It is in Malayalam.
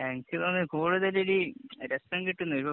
എനിക്ക് തോന്നുന്നത് കൂടുതല്‍ ഇതിലി രസം കിട്ടുന്നത്